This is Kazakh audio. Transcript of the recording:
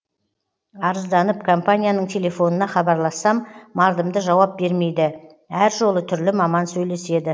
арызданып компанияның телефонына хабарлассам мардымды жауап бермейді әр жолы түрлі маман сөйлеседі